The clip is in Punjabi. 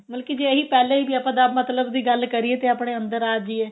ਮਤਲਬ ਕੀ ਜੇ ਇਹੀ ਪਹਿਲੇ ਜੇ ਆਪਾਂ ਅਹ ਮਤਲਬ ਦੀ ਗੱਲ ਕਰੀਏ ਤੇ ਆਪਣੇ ਅੰਦਰ ਆ ਜੀਏ